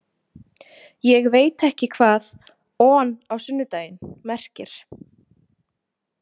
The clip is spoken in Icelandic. Ég veit ekki hvað „on á sunnudaginn“ merkir.